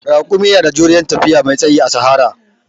Raƙumi na da juriyan tafiya mai tsayi a sahara